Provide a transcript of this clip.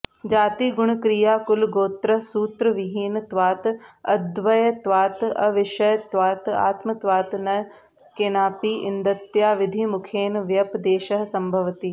जातिगुणक्रियाकुलगोत्रसूत्रविहीनत्वात् अद्वयत्वात् अविषयत्वात् आत्मत्वात् च केनापि इदन्तया विधिमुखेन व्यपदेशः सम्भवति